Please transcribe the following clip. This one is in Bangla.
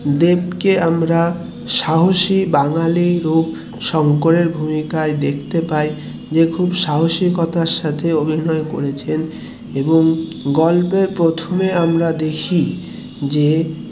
এখানে দেবকে আমরা সাহসী বাঙালি রূপ শঙ্করের ভূমিকায় দেখতে পাই, যে খুব সাহসিকতার সাথে অভিনয় করেছেন এবং গল্পের প্রথমে আমরা দেখি যে